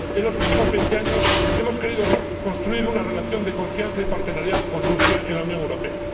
En los últimos veinte años hemos querido construir una relación de confianza y asociación con Rusia en la Unión Europea.